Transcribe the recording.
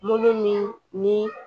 Molo min ni